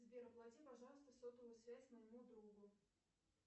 сбер оплати пожалуйста сотовую связь моему другу